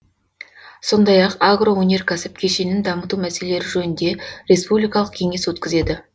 сондай ақ агроөнеркәсіп кешенін дамыту мәселелері жөнінде республикалық кеңес өткізеді